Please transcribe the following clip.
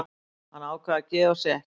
Hann ákvað að gefa sig ekki.